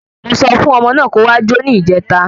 Mo sọ fún ọmọ náà kó wá jo ni ìjèta!